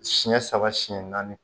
Siɲɛ saba siyɛn naani